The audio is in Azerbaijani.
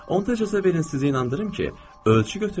Onda icazə verin sizi inandırım ki, ölçü götürüləcək.